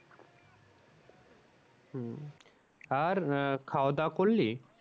আর আহ খাওয়া দাও করলি?